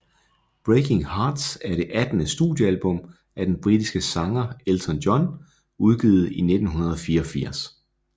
Breaking Hearts er det attende studiealbum af den britiske sanger Elton John udgivet i 1984